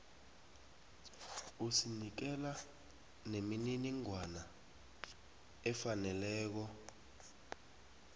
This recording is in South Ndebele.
usinikela nemininingwana efaneleko